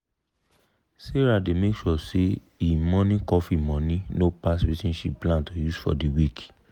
sarah dey make sure say e morning coffee money no pass wetin she plan to use for de week.